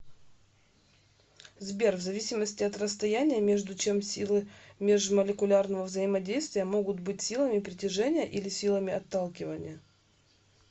сбер в зависимости от расстояния между чем силы межмолекулярного взаимодействия могут быть силами притяжения или силами отталкивания